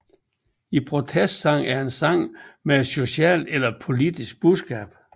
En protestsang er en sang med et socialt eller politisk budskab